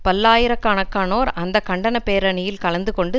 பல்லாயிர கணக்கானோர் அந்த கண்டன பேரணியில் கலந்துகொண்டு